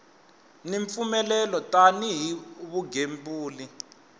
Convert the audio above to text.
ni mpfumelelo tani hi vugembuli